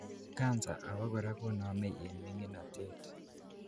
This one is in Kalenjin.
cancer abakora konomei en minginotet